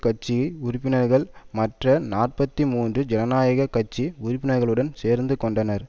கட்சி உறுப்பினர்கள் மற்ற நாற்பத்தி மூன்று ஜனநாயக கட்சி உறுப்பினர்களுடன் சேர்ந்து கொண்டார்